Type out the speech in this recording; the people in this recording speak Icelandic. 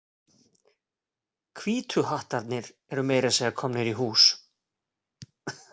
Hvítu hattarnir eru meira að segja komnir í hús.